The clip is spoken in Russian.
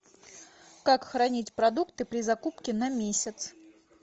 как хранить продукты при закупке на месяц